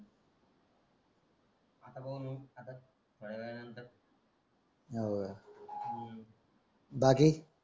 आता कवा येऊ आता थोड्या वेळा नंतर